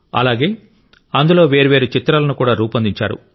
అలాగే అందులో వేర్వేరు చిత్రాలను కూడా రూపొందించారు